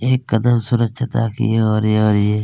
एक कदम स्वच्छता की है और यह एक --